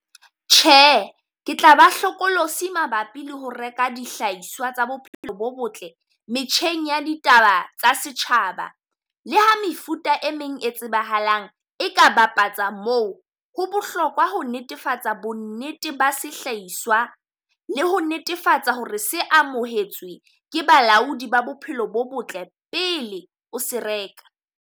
Tjhe, ke tla ba hlokolosi mabapi le ho reka dihlahiswa tsa bophelo bo botle metjheng ya ditaba tsa setjhaba. Le ha mefuta e meng e tsebahalang e ka bapatsa moo. Ho bohlokwa ho netefatsa bonnete ba sehlahiswa le ho netefatsa ho re se amohetswe ke balaodi ba bophelo bo botle pele o se reka.